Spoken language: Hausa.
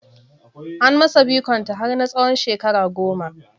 An masa bikon ta har na tsawon shekara goma